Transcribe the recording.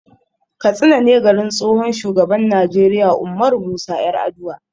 Katsina ne garin tsohon shugaban Najeriya Ummaru Musa 'Yaraduwa.